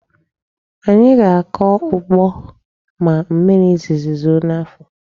Anyị ga-akọ ugbo ma mmiri izizi zoo n'afọ.